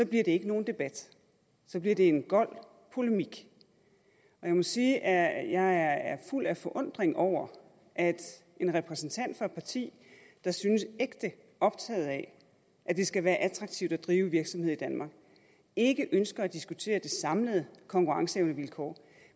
bliver det ikke en debat så bliver det en gold polemik jeg må sige at jeg er fuld af forundring over at en repræsentant for et parti der synes ægte optaget af at det skal være attraktivt at drive virksomhed i danmark ikke ønsker at diskutere det samlede konkurrenceevnevilkår